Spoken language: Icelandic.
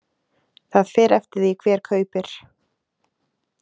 Það fer eftir því hver kaupir.